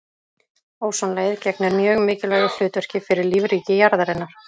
Ósonlagið gegnir mjög mikilvægu hlutverki fyrir lífríki jarðarinnar.